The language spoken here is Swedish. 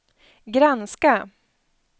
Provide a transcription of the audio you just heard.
granska